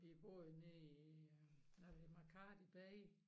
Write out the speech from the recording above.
Vi bor jo nede i øh Makadi bay